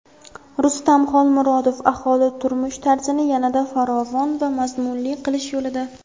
Rustam Xolmurodov: "Aholi turmush-tarzini yanada farovon va mazmunli qilish yo‘lida".